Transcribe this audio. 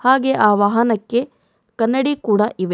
ಹಾಗೆ ವಾಹನಕ್ಕೆ ಕನ್ನಡಿ ಕೂಡ ಇವೆ.